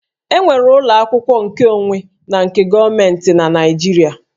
E nwere ụlọ akwụkwọ nkeonwe na nke gọọmentị na Naịjirịa